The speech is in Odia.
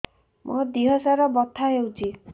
ମୋ ଦିହସାରା ବଥା ହଉଚି